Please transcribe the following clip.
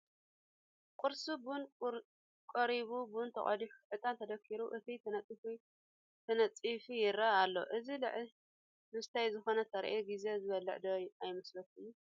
ቁርሲ ቡን ቀሪቡ፣ ቡን ተቐዲሑ፣ ዕጣን ተደኪሩ፣ ሰቲ ተነፂፉ ይርአ ኣሎ፡፡ እዚ ልዕሊ ምስታይ ዝኾነ ተረኣየን ግዜ ዝበልዕ ዶ ኣይመስለኩምን?